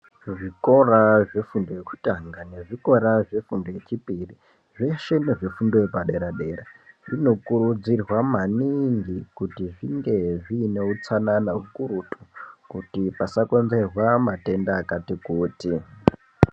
Kuzvikora zvefundo yekutanga nezvefundo yechipiri veshe nezvezvifundo yepadera dera zvinokurudzirwa maningi kuti zvingi zviine utsanana ukurutu kuti pasakonzerwa matenda akati kuti .